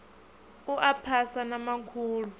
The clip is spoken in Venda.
u a phasa na makhulu